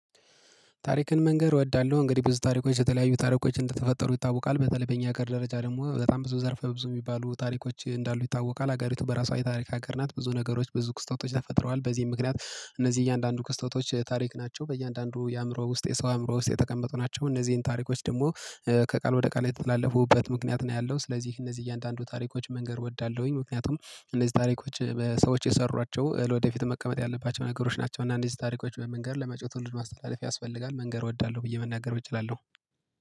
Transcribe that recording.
ታሪክን መንገር እወዳለሁ እንግዲህ በዚህ ታሪኮች የተለያዩ ታሪኮች እንደተፈጠሩ ይታወቃል በተለይ በእኛ ሀገር ደረጃ ደግሞ በጣም ብዙ ዘርፈ ብዙ የሚባሉ ታሪኮች እንዳሉ ይታወቃል ሀገሪቱ በራሷ የታሪክ ሀገር ናት። ብዙ ነገሮች ብዙ ክስተቶች ተፈጥረዋል በዚህም ምክንያት እነዚህ እያንዳንዱ ከስተዋቾች ታሪክ ናቸው። በእያንዳንዱ የአእምሮ ውስጥ የሰው የአእምሮ ውስጥ የተቀመጡ ናቸው። እነዚህን ታሪኮች ደግሞ ከቃል ወደ ቃል የተላለፉበት ምክንያት ነው ያለው። ስለዚህ እነዚህ እያንዳንዱ ታሪኮች መንገር እወዳለሁኝ ምክንያቱም እነዚህ ታሪኮች ሰዎች የሰሯቸው ለወደፊት መቀመጥ ያለባቸው ነገሮች ናቸው። እና እነዚህ ታሪኮች በመንገር ለመጭው ልጅ ማስተላለፍ ያስፈልጋል። መንገር እወዳለሁ ብዬ መናገር እችላለሁ።